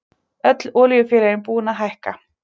Öll olíufélögin búin að hækka